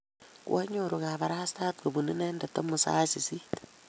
koanyoru kabarastae kobunu inendet amut sait sisit